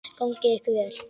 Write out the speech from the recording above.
Gangi ykkur vel.